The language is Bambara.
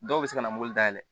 Dɔw bɛ se ka na mobili dayɛlɛ